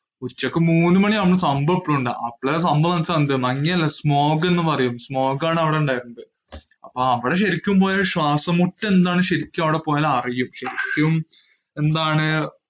ഉച്ചക്ക് മൂന്ന് മാണി ആവുമ്പൊ മഞ്ഞു അല്ല smog എന്ന് പറയും, smog ആണ് അവിടെ ഉണ്ടായിരുന്നത്. അവിടെ ശെരിക്കും പോയാൽ ശ്വാസം മുട്ട് എന്താണെന്നു ശെരിക്കും അറിയും.